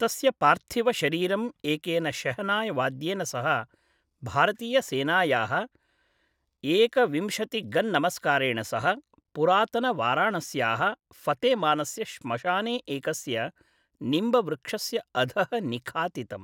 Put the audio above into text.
तस्य पार्थिवशरीरं एकेन शेहनाय् वाद्येन सह, भारतीयसेनायाः एकविंशति गन् नमस्कारेण सह, पुरातन वाराणस्याः फतेमानस्य श्मशाने एकस्य निम्बवृक्षस्य अधः निखातितम्।